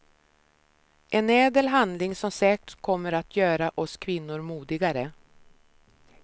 En ädel handling som säkert kommer att göra oss kvinnor modigare.